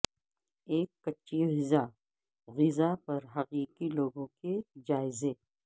ایک کچی غذا غذا پر حقیقی لوگوں کے جائزے